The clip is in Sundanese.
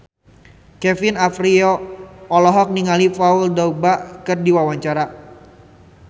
Kevin Aprilio olohok ningali Paul Dogba keur diwawancara